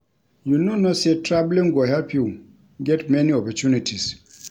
You no know say traveling go help you get many opportunities